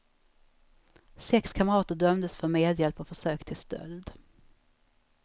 Sex kamrater dömdes för medhjälp och försök till stöld.